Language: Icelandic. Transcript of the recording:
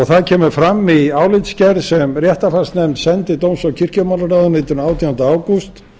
það kemur fram í álitsgerð sem réttarfarsnefnd sendi dóms og kirkjumálaráðuneytinu átjánda ágúst